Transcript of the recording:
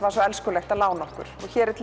var svo elskulegt að lána okkur